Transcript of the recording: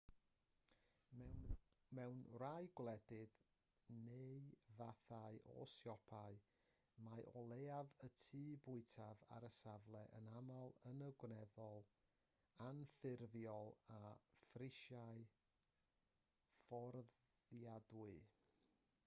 mewn rhai gwledydd neu fathau o siopau mae o leiaf un tŷ bwyta ar y safle yn aml yn un gweddol anffurfiol â phrisiau fforddiadwy